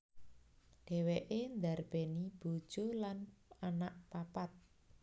Dhèwèké ndarbèni bojo lan anak papat